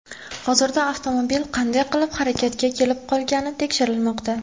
Hozirda avtomobil qanday qilib harakatga kelib qolgani tekshirilmoqda.